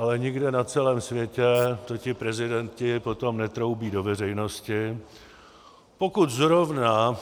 Ale nikde na celém světě to ti prezidenti potom netroubí do veřejnosti, pokud zrovna